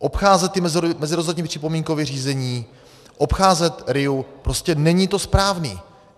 Obcházet ta mezirezortní připomínková řízení, obcházet RIA, prostě není to správné.